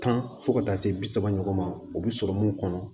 Tan fo ka taa se bi saba ɲɔgɔn ma o bi sɔrɔ mun kɔnɔ